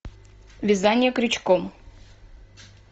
вязание крючком